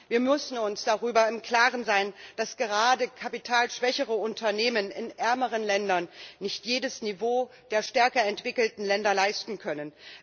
Wir müssen uns darüber im Klaren sein, dass gerade kapitalschwächere Unternehmen in ärmeren Ländern nicht jedes Niveau der stärker entwickelten Länder leisten können.